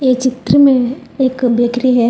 ये चित्र में एक बेकरी है।